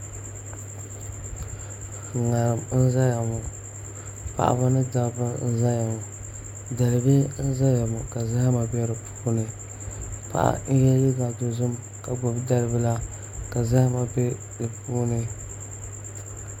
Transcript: ŋarim n ʒɛya ŋɔ paɣaba ni dabba n ʒɛya ŋɔ dalibihi n ʒɛya ŋɔ ka zahama bɛ di puuni paɣa n yɛ liiga dozim ka gbubi dalibila ka zahama bɛ di puuni